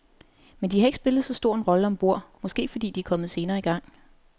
Men de har ikke spillet så stor en rolle om bord, måske fordi de er kommet senere i gang.